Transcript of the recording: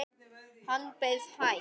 Hann bauð hæst.